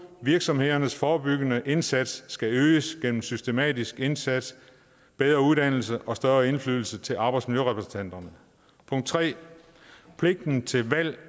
virksomhedernes forebyggende indsats skal øges gennem systematisk indsats bedre uddannelse og større indflydelse til arbejdsmiljørepræsentanter pligten til valg